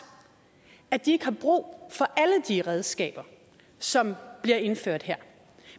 at de ikke har brug for alle de redskaber som bliver indført her